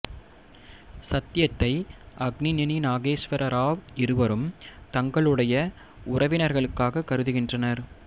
சத்யத்தை அக்னிநெனி நாகேஸ்வரா ராவ் இருவரும் தங்களுடைய உறவினர்களாக கருதுகின்றனர்